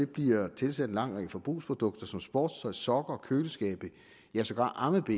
bliver tilsat en lang række forbrugsprodukter som sportstøj sokker og køleskabe ja sågar ammebh’er